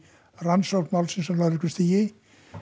rannsókn málsins á lögreglustigi